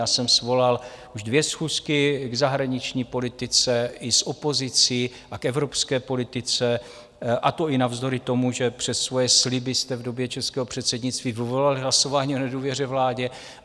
Já jsem svolal už dvě schůzky k zahraniční politice i s opozicí a k evropské politice, a to i navzdory tomu, že přes svoje sliby jste v době českého předsednictví vyvolali hlasování o nedůvěře vládě.